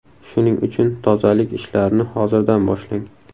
Shuning uchun tozalik ishlarini hozirdan boshlang.